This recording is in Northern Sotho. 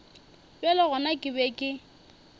bjale gona ke be ke